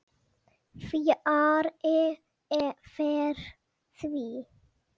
Fjarri fer því.